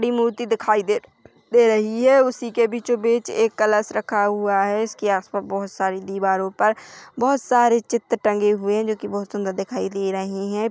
मूर्ति दिखाई दे दे रही है उसी के बीचो बीच एक कलश रखा हुआ है उसकी आसपास बहुत सारी दीवारों पर बोहत सारी चित्र टाँगी हुए है जोकी बोहत सुंदर दिखाई दे रही है।